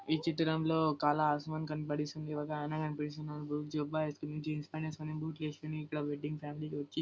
ఈ చిత్రంలో ఒకాయన కనిపిస్తున్నాడు. జుబ్బా వేసుకొని జీన్స్ ప్యాంట్ వేసుకొని బూట్లు వేసుకొని ఇక్కడ వెడ్డింగ్ కి వచ్చి --